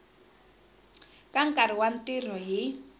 ka nkarhi wa ntirho hi